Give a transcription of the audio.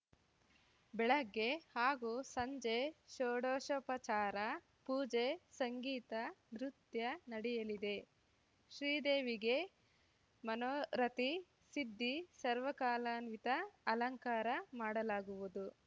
ಬೆಳಗ್ಗೆ ಹಾಗೂ ಸಂಜೆ ಶೋಡಷೋಪಚಾರ ಪೂಜೆ ಸಂಗೀತ ನೃತ್ಯ ನಡೆಯಲಿದೆ ಶ್ರೀದೇವಿಗೆ ಮನೋರಥಿ ಸಿದ್ದಿ ಸರ್ವಕಾಲಾನ್ವಿತ ಅಲಂಕಾರ ಮಾಡಲಾಗುವುದು